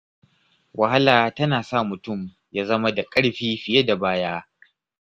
Wahala tana sa mutum ya zama da ƙarfi fiye da baya.